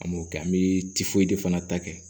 An m'o kɛ an bɛ de fana ta kɛ